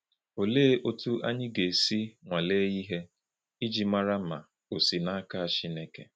Olee otú anyị ga-esi nwalee ihe iji mara ma ò si n’aka Chineke?